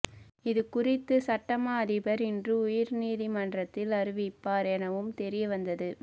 இது குறித்து சட்டமா அதிபர் இன்று உயர்நீதிமன்றத்தில் அறிவிப்பார் எனவும் தெரியவந்தது